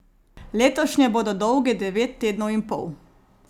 Letošnje bodo dolge devet tednov in pol.